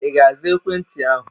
Ị ga-aza ekwentị ahụ?